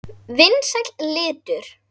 Vinsæll litur.